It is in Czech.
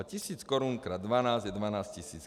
A tisíc korun krát dvanáct je dvanáct tisíc.